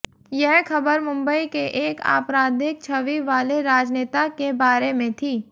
यह खबर मुम्बई के एक आपराधिक छवि वाले राजनेता के बारे में थी